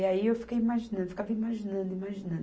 E aí eu fiquei imaginando, ficava imaginando, imaginando